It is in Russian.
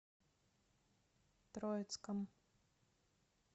троицком